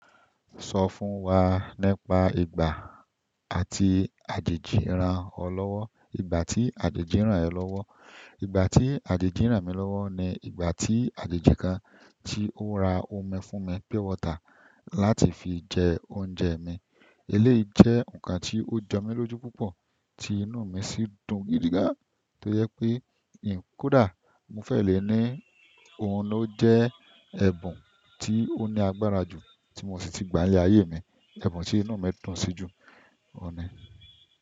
Sọ fún wa nípa ìgbà àti àjèjì ràn ọ lọ́wọ́, ìgbà àti àjèjì ràn ẹ́ lọ́wọ́, ìgbà tí àjèjì ran mi lọ́wọ́ ni ìgbà tí àjèjì kan tí ó ra omi fún mi pure water láti fi jẹ oúnjẹ mi. Eléyìí jẹ́ nǹkan tí ó jọ mí lójú púpọ̀ tí inú mi sì dùn gidi gan, tó yẹ pé n kódà mo fẹ́ lè ní òhun ló jẹ́ ẹ̀bùn tí ó ní agbára jù tí mo sì ti gbà ní ayé mi. Ẹ̀bùn tí inú mi dùn sí jù, òhun ni.